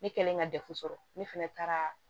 Ne kɛlen ka dɛfu sɔrɔ ne fɛnɛ taara